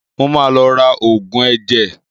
Mo ma lọ ra Ògùn ẹ̀jẹ̀